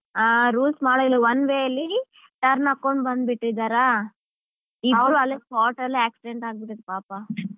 ಹಾ rules ಮಾಡಿಲ್ಲ one way ಅಲ್ಲಿ turn ಆಕ್ಕೊಂಡ್ ಬಂದ್ಬಿಟ್ಟಿದ್ದಾರಾ ಇಬ್ರು ಅಲ್ಲೇ spot ಅಲ್ಲಿ accident ಆಗ್ಬಿಟ್ಟಿದೆ ಪಾಪ.